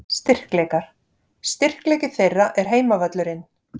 Styrkleikar: Styrkleiki þeirra er heimavöllurinn.